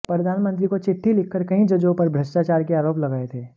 प्रधानमंत्री को चिट्ठी लिखकर कई जजों पर भ्रष्टाचार के आरोप लगाए थे